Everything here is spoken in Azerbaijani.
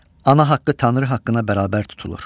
Ana haqqı Tanrı haqqına bərabər tutulur.